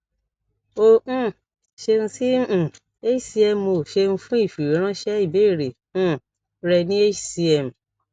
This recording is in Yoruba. o um ṣeun si um hcmo ṣeun fun ifiweranṣẹ ibeere um rẹ ni hcm